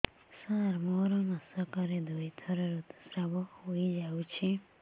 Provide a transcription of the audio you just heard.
ସାର ମୋର ମାସକରେ ଦୁଇଥର ଋତୁସ୍ରାବ ହୋଇଯାଉଛି